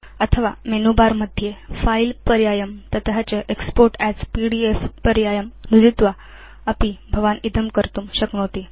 अथवा menu bar मध्ये file पर्यायं ततश्च एक्स्पोर्ट् अस् पीडीएफ पर्यायं नुदित्वा अपि भवान् इदं कर्तुं शक्नोति